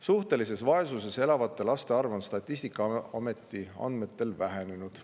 Suhtelises vaesuses elavate laste arv on Statistikaameti andmetel vähenenud.